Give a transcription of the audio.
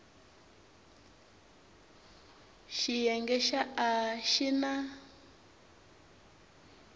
xiyenge xa a xi na